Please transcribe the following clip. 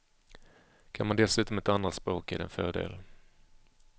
Kan man dessutom ett andra språk är det en fördel.